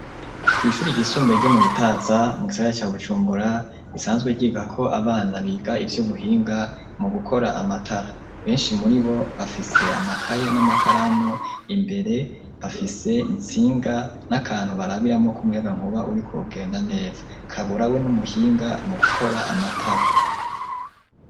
Kwishuri ry'isumbuye ryo mu Gitaza mu gisagara ca Bujumbura bisanzwe ryiga ko abana biga ivy'ubuhinga mu gukora amatara benshi muri bo bafise amakaye n'amakaramu imbere bafise itsinga n'akantu barabiramo k'umuyaga nkuba uriko ugenda neza kaburawe n'umuhinga mu gukora amatara.